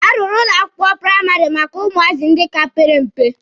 A rụrụ ụlọ akwụkwọ praịmarị maka ụmụazị ndị ka pere mpe.